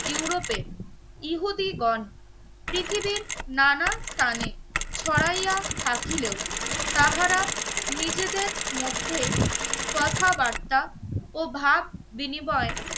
ইউরোপে ইহুদীগণ পৃথিবীর নানা স্থানে ছড়াইয়া থাকিলে ও তাহারা নিজেদের মধ্যে কথাবার্তা ও ভাব বিনিময়